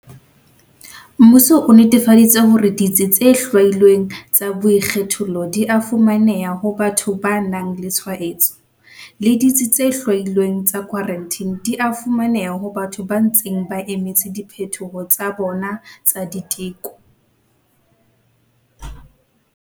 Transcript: Mmuso o netefaditse hore ditsi tse hlwailweng tsa boikgethollo di a fumaneha ho batho ba nang le tshwaetso, le ditsi tse hlwailweng tsa khwarantine di a fumaneha ho batho ba ntseng ba emetse diphetho tsa bona tsa diteko.